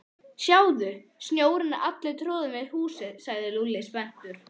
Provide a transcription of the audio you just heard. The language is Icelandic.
Sjáðu, snjórinn er allur troðinn við húsið sagði Lúlli spenntur.